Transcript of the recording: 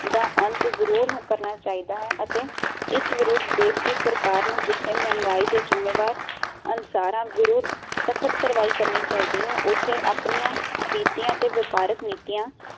ਦਾ ਅੰਤ ਜਰੂਰ ਕਰਨਾ ਚਾਹੀਦਾ ਹੈ ਅਤੇ ਇਸ ਵਿਰੁੱਧ ਦੇਸ਼ ਦੀ ਸਰਕਾਰ ਜਿਥੇ ਮਹਿੰਗਾਈ ਦੇ ਜ਼ਿਮੇਵਾਰ ਅਨਸਰਾਂ ਵਿਰੁੱਧ ਸਖਤ ਕਾਰਵਾਈ ਕਰਨੀ ਚਾਹੀਦੀ ਹੈ ਉਥੇ ਆਪਣੀਆਂ ਵਿਤੀਆਂ ਤੇ ਵਪਾਰਕ ਨੀਤੀਆਂ